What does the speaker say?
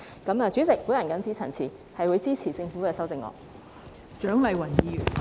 代理主席，我謹此陳辭，我會支持政府的修正案。